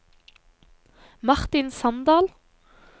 Martin Sandal